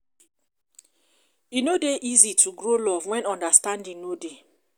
e no dey easy to grow love wen understanding no dey.